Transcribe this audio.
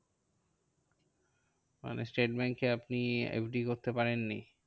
মানেস্টেট ব্যাঙ্কে আপনি FD করতে পারেননি?